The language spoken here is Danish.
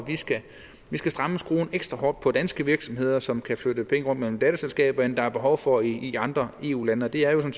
vi skal stramme skruen ekstra hårdt for danske virksomheder som kan flytte penge rundt mellem datterselskaber i det der er behov for i andre eu lande og det er jo